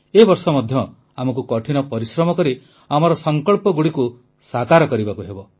ଏ ବର୍ଷ ମଧ୍ୟ ଆମକୁ କଠିନ ପରିଶ୍ରମ କରି ଆମର ସଂକଳ୍ପଗୁଡ଼ିକୁ ସାକାର କରିବାକୁ ହେବ